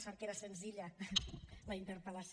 sort que era senzilla la interpel·lació